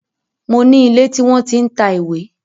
Mo ní ilé tí wọ́n tí ń ta ìwé